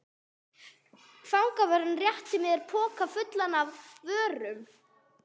Fangavörðurinn rétti mér poka fullan af vörum.